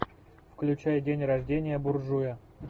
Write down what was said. включай день рождения буржуя